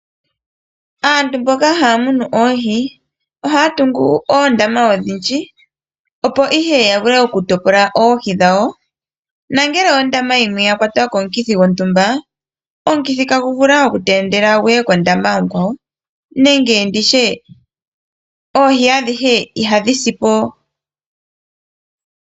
Aantu mboka haya munu oohi ohaya tungu oondama odhindji opo ihe ya vule okutopola oohi dhawo. Nongele ondama yimwe yakwatwa komukithi gontumba omukithi itagu vulu okutaandela guye kondama onkwawo nenge nditye oohi adhihe ihadhi sipo.